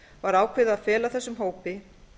var ákveðið að fela þessum hópi